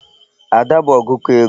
Ada bụ ọgụkọ ego.